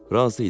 Razı idi.